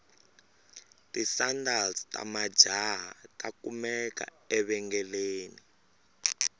tisandals tamajahha takumeka evengeleni